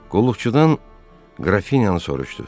Qulluqçudan Qrafinyanı soruşdu.